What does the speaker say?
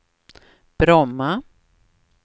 Bromma